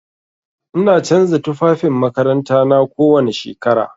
Ina canza tufafin makarantana kowani shekara.